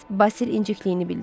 Basil incikliyini bildirdi.